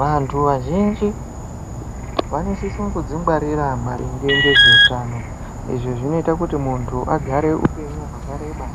Vantu vazhinji vanosise kuzvingwarira maringe ngezveutano izvi zvinoita kuti muntu agare upenyu hwakareba